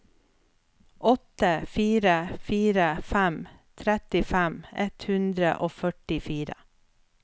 åtte fire fire fem trettifem ett hundre og førtifire